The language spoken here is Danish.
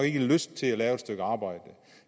ikke har lyst til at lave et stykke arbejde